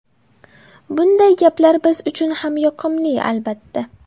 Bunday gaplar biz uchun ham yoqimli, albatta.